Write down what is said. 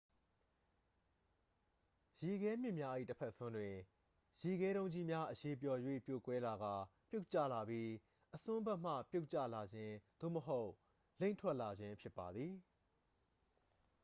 ရေခဲမြစ်များ၏တစ်ဖက်စွန်းတွင် ရေခဲတုံးကြီးများ အရည်ပျော်၍ပြိုကွဲလာကာ ပြုတ်ကျလာပြီး အစွန်းဖက်မှ ပြုတ်ကျလာခြင်း သို့မဟုတ် လိမ့်ထွက်လာခြင်း ဖြစ်ပါသည်